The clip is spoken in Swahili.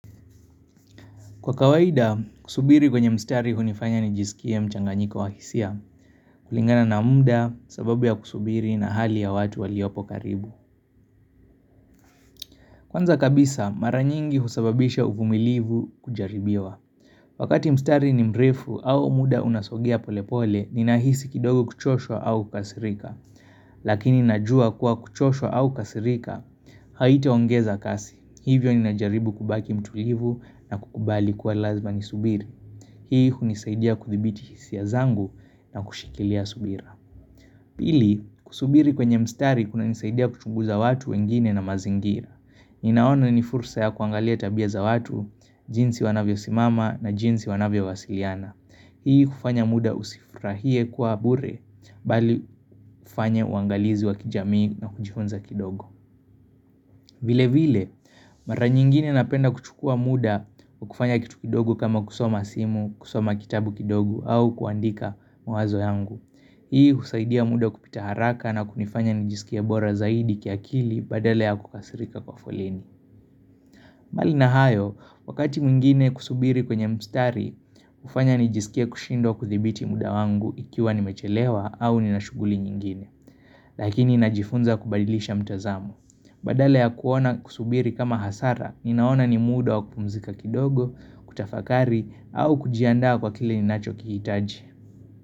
Kwa kawaida, kusubiri kwenye mstari hunifanya nijisikie mchanganyiko wahisia, kulingana na muda sababu ya kusubiri na hali ya watu waliopo karibu. Kwanza kabisa, mara nyingi husababisha uvumilivu kujaribiwa. Wakati mstari ni mrefu au muda unasogea polepole, ninahisi kidogo kuchoshwa au kasirika. Lakini najua kuwa kuchoshwa au kasirika, haitaongeza kasi. Hivyo ninajaribu kubaki mtulivu na kukubali kuwa lazima ni subiri. Hii unisaidia kuthibiti hisia zangu na kushikilia subira Pili, kusubiri kwenye mstari kunanisaidia kuchunguza watu wengine na mazingira Ninaona ni furusa ya kuangalia tabia za watu, jinsi wanavyo simama na jinsi wanavyo wasiliana Hii ufanya muda usifurahie kuwa bure, bali fanya uangalizi wa kijamii na kujifunza kidogo vile vile, mara nyingine napenda kuchukua muda wakufanya kitu kidogo kama kusoma simu, kusoma kitabu kidogo au kuandika mawazo yangu. Hii husaidia muda kupita haraka na kunifanya nijiskie bora zaidi kiakili badala ya kukasirika kwa foleni. Mbali na hayo, wakati mwingine kusubiri kwenye mstari, ufanya nijisikie kushindwa kuthibiti muda wangu ikiwa nimechelewa au ninashughuli nyingine. Lakini najifunza kubadilisha mtazamo Badala ya kuona kusubiri kama hasara Ninaona ni muda wa kupumzika kidogo, kutafakari au kujiandaa kwa kile ni nachokihitaji.